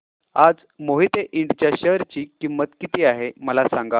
आज मोहिते इंड च्या शेअर ची किंमत किती आहे मला सांगा